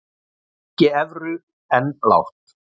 Gengi evru enn lágt